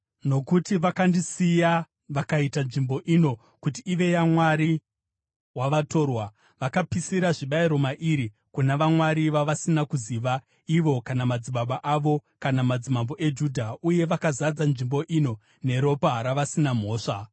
Nokuti vakandisiya vakaita nzvimbo ino kuti ive yamwari wavatorwa; vakapisira zvibayiro mairi kuna vamwari vavasina kuziva ivo kana madzibaba avo kana madzimambo eJudha, uye vakazadza nzvimbo ino neropa ravasina mhosva.